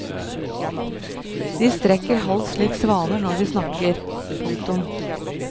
De strekker hals lik svaner når de snakker. punktum